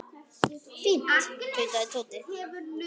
Fínt tautaði Tóti.